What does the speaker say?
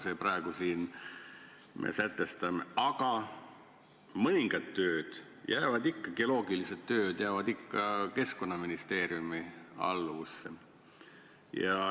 Samas mõningad tööd, geoloogilised tööd jäävad ikka Keskkonnaministeeriumi alluvusse.